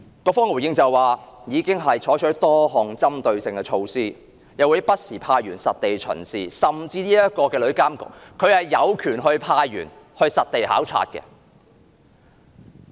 局方的回應是，已經採取多項針對性的措施，又會不時派員實地巡視，甚至日後的旅監局有權派員實地考察。